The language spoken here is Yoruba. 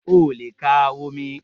O le ka omi